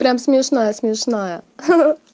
прям смешная смешная ха-ха-ха